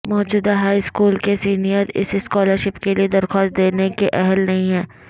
موجودہ high school کے senior اس سکالرشپ کے لئے درخواست دینے کے اہل نہیں ہیں